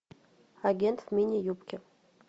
агент в мини юбке